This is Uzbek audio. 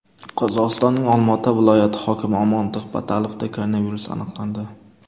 Qozog‘istonning Olmaota viloyati hokimi Omondiq Batalovda koronavirus aniqlandi.